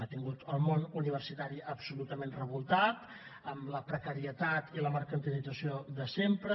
ha tingut el món universitari absolutament revoltat amb la precarietat i la mercantilització de sempre